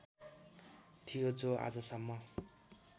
थियो जो आजसम्म